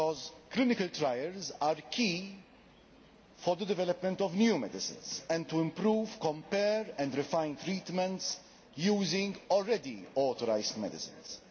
Because clinical trials are key to the development of new medicines and to improving, comparing and refining treatments using already authorised medicines.